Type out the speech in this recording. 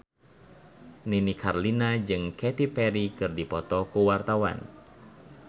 Nini Carlina jeung Katy Perry keur dipoto ku wartawan